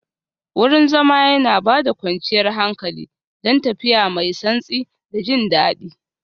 Wurin zama yana ba da kwanciyar hankali, don tafiya mai santsi da jin daɗi